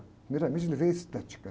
Primeiramente ele vê a estética.